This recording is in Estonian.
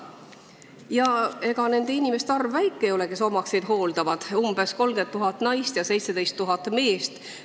Omastehooldajate arv ei ole väike: umbes 30 000 naist ja 17 000 meest.